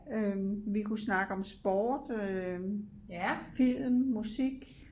Øh vi kunne snakke om sport øh film musik